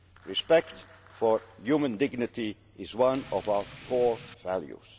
Union. Respect for human dignity is one of our core